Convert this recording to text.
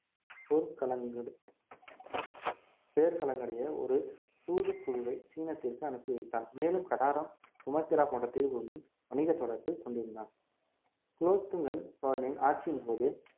பேர் கலங்கரையை ஒரு தூதுக்குழுவை சீனத்திற்கு அனுப்பி வைத்தான் மேலும் கடாரம் சுமத்திரா போன்ற தீவுகளுடனும் வணிகத் தொடர்பு கொண்டிருந்தான் குலோத்துங்கன் சோழனின் ஆட்சியின் போது